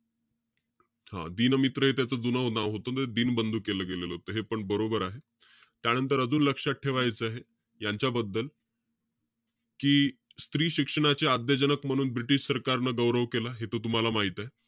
हं, दीनमित्र हे त्याचं जुनं नाव होतं. दीनबंधू केलं गेलेलं होतं. हेपण बरोबर आहे. त्यानंतर अजून लक्षात ठेवायचं आहे. यांच्याबद्दल, कि स्त्री शिक्षणाचे आद्यजनक म्हणून british सरकारनं गौरव केला. हे त तुम्हाला माहित आहे.